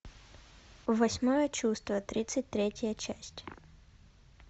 восьмое чувство тридцать третья часть